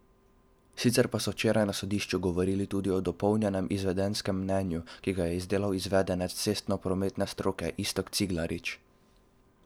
Sicer pa so včeraj na sodišču govorili tudi o dopolnjenem izvedenskem mnenju, ki ga je izdelal izvedenec cestnoprometne stroke Iztok Ciglarič.